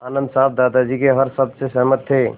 आनन्द साहब दादाजी के हर शब्द से सहमत थे